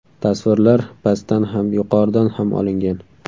Tasvirlar pastdan ham, yuqoridan ham olingan.